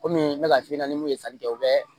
Komi n bɛ ka f'i ɲɛna mun ye sanni kɛ o bɛ